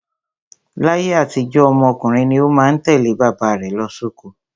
Láyé àtijó, ọmọ ọkùnrin ni ó má ń tẹ̀lé bàbá rẹ̀ lọ sóko.